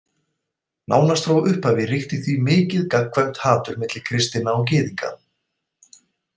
Nánast frá upphafi ríkti því mikið og gagnkvæmt hatur milli kristinna og Gyðinga.